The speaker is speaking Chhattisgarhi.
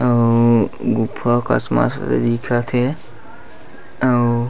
अव गुफा ह कस दिखथ हे अउ--